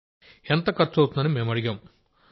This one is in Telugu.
ఎంత ఖర్చవుతుందని మేం అడిగాం